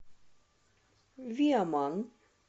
виаман